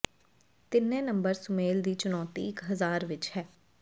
ਤਿੰਨੇ ਨੰਬਰ ਸੁਮੇਲ ਦੀ ਚੁਣੌਤੀ ਇਕ ਹਜਾਰ ਵਿਚ ਹੈ